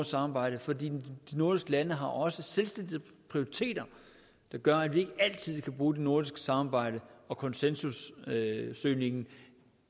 samarbejde for de nordiske lande har også selvstændige prioriteter der gør at vi ikke altid kan bruge det nordiske samarbejde og konsensussøgningen